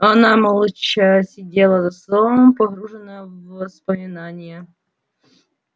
она молча сидела за столом погруженная в воспоминания